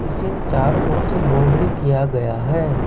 इसे चारों ओर से बाउंड्री किया गया है।